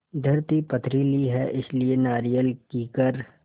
धरती पथरीली है इसलिए नारियल कीकर